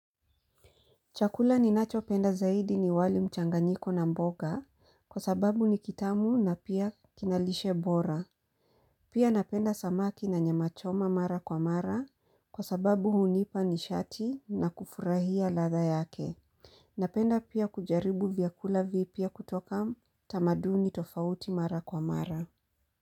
Chakula ninachopenda zaidi ni wali mchanganyiko na mboga kwa sababu ni kitamu na pia kina lishe bora. Pia napenda samaki na nyamachoma mara kwa mara kwa sababu hunipa nishati na kufurahia ladha yake. Napenda pia kujaribu vyakula vipya kutoka tamaduni tofauti mara kwa mara.